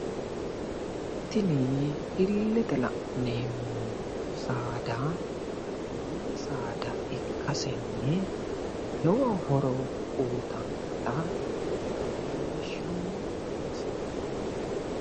Tini illete la'neemoti saada min saada ikkasenni lowo horo uyitanno